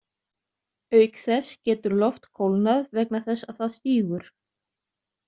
Auk þess getur loft kólnað vegna þess að það stígur.